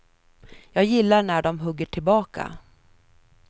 Jag gillar när de hugger tillbaka.